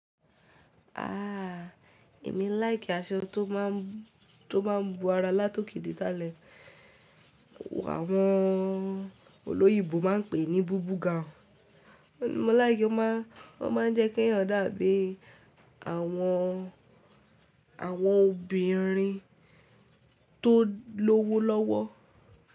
A, èmi láì kí aṣọ tó máa ń, tó máa ń bu ara látòkèdè salẹ̀. Àwọn òyìnbó má ń pè ní bùbù gaùn. Mo láì kí ó ma ń, ó ma ń jẹ́ kí èèyàn dàbí àwọn, àwọn obìnrin tó lówó lọ́wọ́.